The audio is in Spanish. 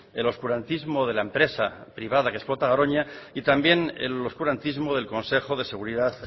el oscurantismo de la empresa privada que explota garoña y también el oscurantismo del consejo de seguridad